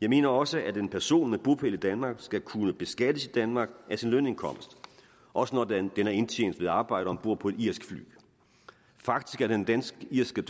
jeg mener også at en person med bopæl i danmark skal kunne beskattes i danmark af i sin lønindkomst også når den er indtjent ved at arbejde om bord på et irsk fly faktisk er den dansk irske